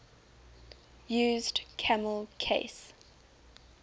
used camel case